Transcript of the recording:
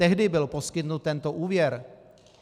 Tehdy byl poskytnut tento úvěr.